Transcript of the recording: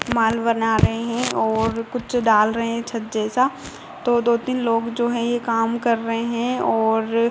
माल बना रहे हैं और कुछ डाल रहे हैं छज्जे सा तो दो तीन जो हैं ये काम कर रहे हैं और --